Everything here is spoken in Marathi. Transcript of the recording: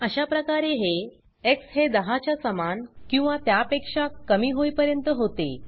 अशा प्रकारे हे एक्स हे 10 च्या समान किंवा त्यापेक्षा कमी होईपर्यंत होते